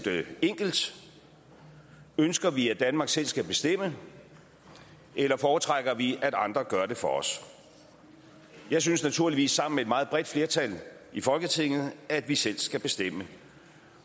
enkelt ønsker vi at danmark selv skal bestemme eller foretrækker vi at andre gør det for os jeg synes naturligvis sammen med et meget bredt flertal i folketinget at vi selv skal bestemme